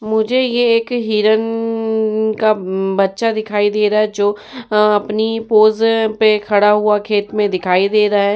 मुझे ये एक हिरण का बच्चा दिखाई दे रहा है जो अ अपनी पोज में खड़ा हुआ खेत में दिखाई दे रहा है।